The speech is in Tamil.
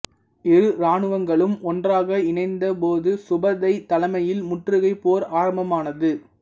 இரு இராணுவங்களும் ஒன்றாக இணைந்த போது சுபுதை தலைமையில் முற்றுகைப் போர் ஆரம்பமானது